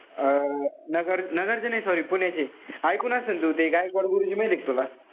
अं नगर नगरचे नाई sorry पुण्याचे. इकून असेल तू. ते गायकवाड गुरुजी माहितीय का तुला?